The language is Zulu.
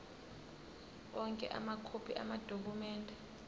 onke amakhophi amadokhumende